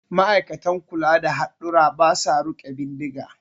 Ma'aikatan kula da hadurra ba sa riƙe bindiga